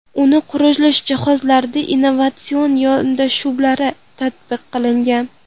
Uni qurish va jihozlashda innovatsion yondashuvlar tatbiq qilingan.